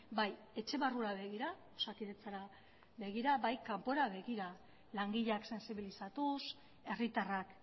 bai etxe barrura begira osakidetzara begira eta bai kanpora begira langileak sentsibilizatuz herritarrak